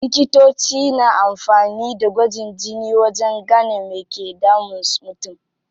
Likitoci na amfani da gwajin jini wajen gane me ke damun mutum.